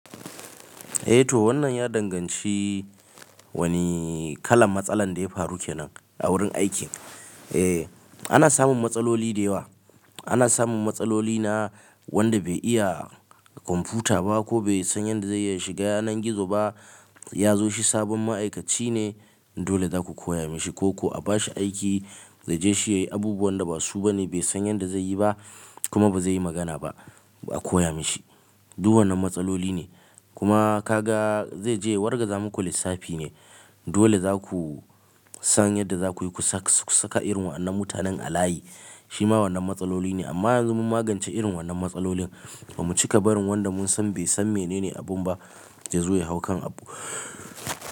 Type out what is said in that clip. Eh to wannan ya danganci wani kalan matsalan da ya faru kenan a wurin aiki. Eh ana samun matsaloli da yawa. Ana samun matsaloli na wanda bai iya kwamfuta ba ko bai san yadda zai iya shiga yanar gizo ba. Ya zo shi sabon ma'aikaci ne dole za ku koya mishi ko ko a bashi aiki zai je shi yi abubuwan da ba su ba ne bai san yanda zai yi ba kuma ba zai yi magana ba a koya mashi. Duk wannan matsaloli ne. Kuma ka ga zai je ya wargaza muku lissafi ne dole za ku san yadda za ku yi ku saka irin wannan mutanen a layi shima wannan matsaloli ne. Amma yanzu mun magance irin wannan matsalolin bamu cika barin wanda mun san bai san menene abun ba ya zo ya hau kan abu.